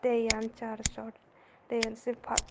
tey yan sarsot tey iyen sei patar.